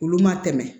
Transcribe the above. Olu ma tɛmɛ